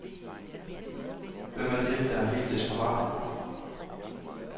Hvem er det, der er helt desperate?